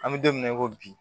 An bɛ don min na i ko bi